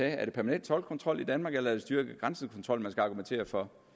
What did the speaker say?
er det permanent toldkontrol i danmark eller er det styrket grænsekontrol man skal argumentere for